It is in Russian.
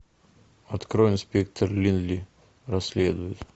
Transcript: открой инспектор линли расследует